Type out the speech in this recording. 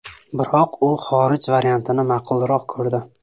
Biroq u xorij variantini ma’qulroq ko‘rdi.